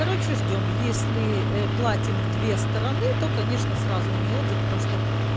короче ждём если э платим в две стороны то конечно сразу у него отзывы потому что